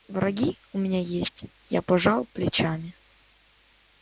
враги у меня есть я пожал плечами